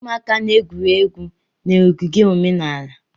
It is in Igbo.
Ụmụaka na-egwuri egwu na ogige omenala.